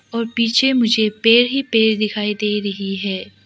और पीछे मुझे पेड़ ही पेड़ दिखाई दे रही है।